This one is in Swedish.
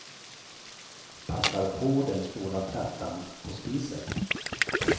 Passar på den stora plattan på spisen.